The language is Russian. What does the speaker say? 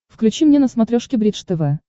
включи мне на смотрешке бридж тв